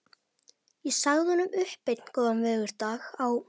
Ég sagði honum upp einn góðan veðurdag á